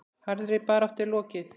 Harðri baráttu er nú lokið.